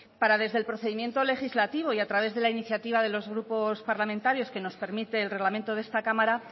para desde el procedimiento legislativo y a través de la iniciativa de los grupos parlamentarios que nos permite el reglamento de esta cámara